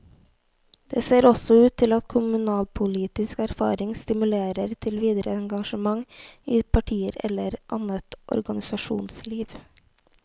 Det ser også ut til at kommunalpolitisk erfaring stimulerer til videre engasjement i partier eller annet organisasjonsliv.